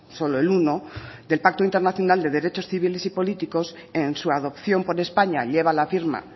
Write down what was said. solo el uno del pacto internacional de derechos civiles y políticos en su adopción por españa lleva la firma